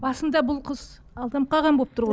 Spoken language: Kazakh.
басында бұл қыз алданып қалған болып тұр ғой